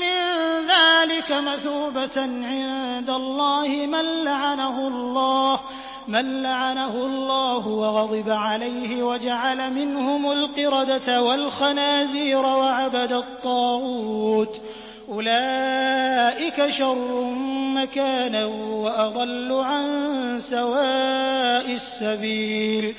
مِّن ذَٰلِكَ مَثُوبَةً عِندَ اللَّهِ ۚ مَن لَّعَنَهُ اللَّهُ وَغَضِبَ عَلَيْهِ وَجَعَلَ مِنْهُمُ الْقِرَدَةَ وَالْخَنَازِيرَ وَعَبَدَ الطَّاغُوتَ ۚ أُولَٰئِكَ شَرٌّ مَّكَانًا وَأَضَلُّ عَن سَوَاءِ السَّبِيلِ